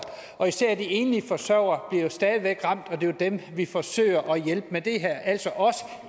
og især de enlige forsørgere bliver stadig væk ramt og det er jo dem vi forsøger at hjælpe med det her altså også